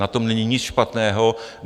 Na tom není nic špatného.